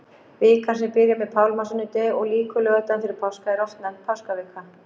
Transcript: Vikan sem byrjar með pálmasunnudegi og lýkur laugardaginn fyrir páska er oft nefnd páskavika.